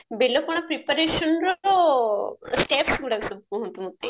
ବେଲ ପଣା preparationର steps ଗୁଡାକ ସବୁ କୁହନ୍ତୁ ମତେ